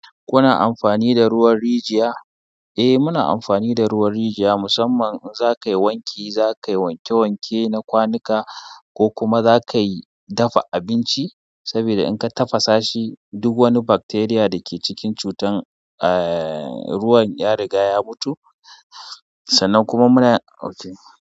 Kuna amfani da ruwan rijiya? Eh muna amfani da ruwan rijiya musamman in za ka yi wanki, za ka yi wanke wanke na kwanuka ko kuma za ka yi dafa abinci. Sabida in ka tafasa shi duk wani bacteria da ke cikin cutan eh ruwan ya riga ya mutu. Sannan kuma muna okay.